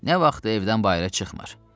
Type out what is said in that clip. Nə vaxtdır evdən bayıra çıxmır.